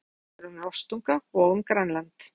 Textinn á síðunni fjallar um rostunga og um Grænland.